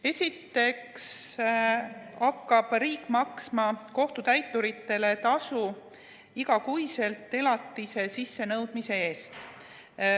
Esiteks hakkab riik maksma kohtutäiturile tasu igakuiselt elatise sissenõudmise eest.